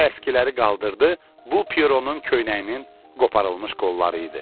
O əskiləri qaldırdı, bu Pieronun köynəyinin qoparılmış qolları idi.